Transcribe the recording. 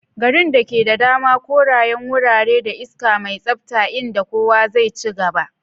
Garin da ke da dama, korayen wurare, da iska mai tsabta inda kowa zai ci gaba.